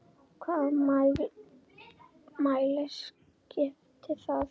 Hvaða máli skiptir það?